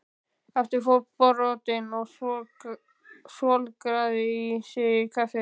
Aftur fótbrotinn og svolgraði í sig kaffið.